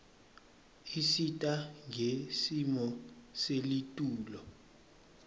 isita ngesimo selitulu